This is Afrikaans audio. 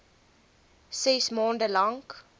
ses maande lank